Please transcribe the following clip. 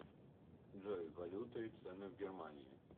джой валюта и цены в германии